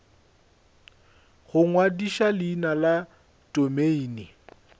go ngwadiša leina la domeine